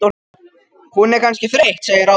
Hún er kannski þreytt segir Ása.